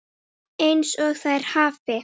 EINS OG ÞÆR HAFI